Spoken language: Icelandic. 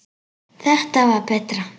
Þetta var betra.